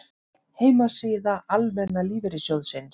Heimasíða Almenna lífeyrissjóðsins